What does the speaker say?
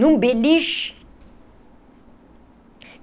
Num beliche?